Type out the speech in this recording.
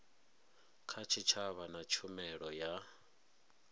kha tshitshavha na tshumelo ya